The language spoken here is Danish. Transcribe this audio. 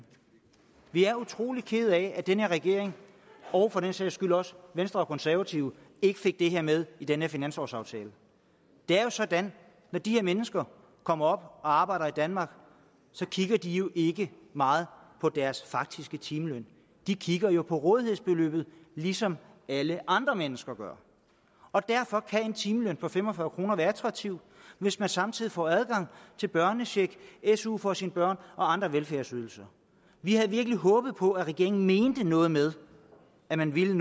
vi er utrolig kede af at den her regering og for den sags skyld også venstre og konservative ikke fik det her med i den her finanslovsaftale det er jo sådan når de her mennesker kommer op og arbejder i danmark kigger de jo ikke meget på deres faktiske timeløn de kigger på rådighedsbeløbet ligesom alle andre mennesker gør og derfor kan en timeløn på fem og fyrre kroner være attraktiv hvis man samtidig får adgang til børnecheck su for sine børn og andre velfærdsydelser vi havde virkelig håbet på at regeringen mente noget med at man ville